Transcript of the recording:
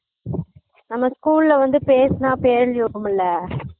நம்ம school ல வந்து பேசுனா பேர் எழுதி வைப்போம்ல